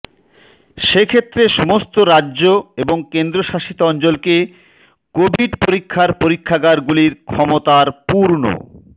সে ক্ষেত্রে সমস্ত রাজ্য এবং কেন্দ্র শাসিত অঞ্চলকে কোভিড পরীক্ষার পরীক্ষাগার গুলির ক্ষমতার পূর্ণ